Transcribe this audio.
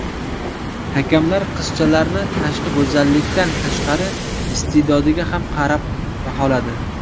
Hakamlar qizchalarni tashqi go‘zallikdan tashqari iste’dodiga ham qarab baholadi.